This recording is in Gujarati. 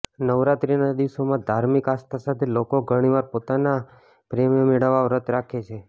નવરાત્રીના દિવસોમાં ધાર્મિક આસ્થા સાથે લોકો ઘણીવાર પોતાના પ્રેમને મેળવવા વ્રત રાખે છે